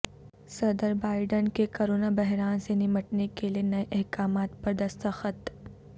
صدر بائیڈن کے کرونا بحران سے نمٹنے کے لیے نئے احکامات پر دستخط